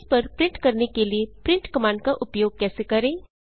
canvas canvas पर print करने के लिए प्रिंट कमांड का उपयोग कैसे करें